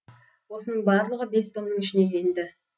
осының барлығы бес томның ішіне енді